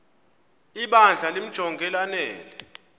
ibandla limjonge lanele